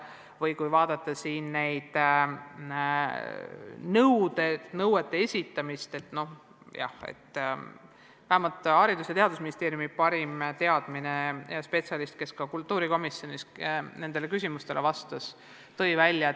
Üldse, kui vaadata neid nõudeid, siis vähemalt Haridus- ja Teadusministeeriumi parima teadmise kohaselt see rikkumismenetlus ei olnud päris kohane.